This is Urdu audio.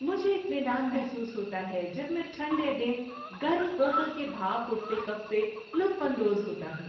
مجھے اطمینان محسوس ہوتا ہے جب میں ٹھنڈے دن گرم کوکو کے بھاپ اٹھتے کپ سے لطف اندوز ہوتا ہوں۔